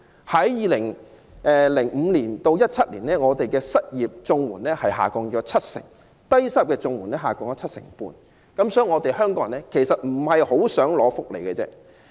在2005年至2017年，我們的失業綜援下降七成，低收入綜援下降七成半，顯示香港人不大希望領取福利。